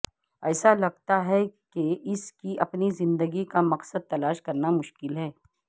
ایسا لگتا ہے کہ اس کی اپنی زندگی کا مقصد تلاش کرنا مشکل ہے